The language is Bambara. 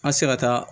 An sera ka taa